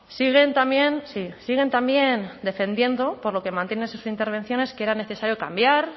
siguen también sí siguen también defendiendo por lo que mantiene en sus intervenciones que era necesario cambiar